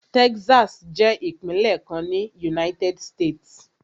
Texas jẹ́ ìpínlẹ̀ kan ní United States.